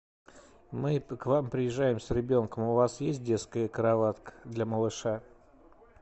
мы к вам приезжаем с ребенком у вас есть детская кроватка для малыша